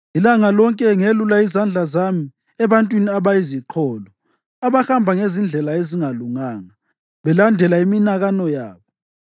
Ilanga lonke ngelula izandla zami ebantwini abayiziqholo, abahamba ngezindlela ezingalunganga belandela iminakano yabo,